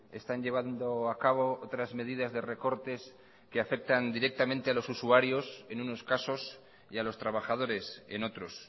están llevando a cabo otras medidas de recortes que afectan directamente a los usuarios en unos casos y a los trabajadores en otros